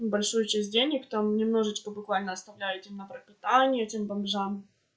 большую часть денег там немножечко буквально оставляете на пропитание этим бомжам